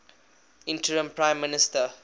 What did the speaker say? interim prime minister